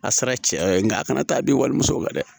A sera cɛya yɔrɔ ye nka a kana taa bin wali musow la dɛ